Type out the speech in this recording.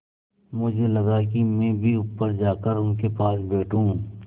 मुझे लगा कि मैं भी ऊपर जाकर उनके पास बैठूँ